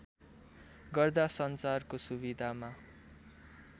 गर्दा सञ्चारको सुविधामा